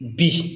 Bi